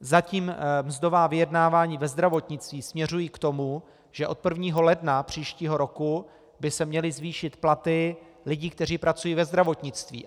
Zatím mzdová vyjednávání ve zdravotnictví směřují k tomu, že od 1. ledna příštího roku by se měly zvýšit platy lidí, kteří pracují ve zdravotnictví.